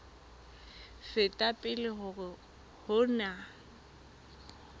feta pele hore ho na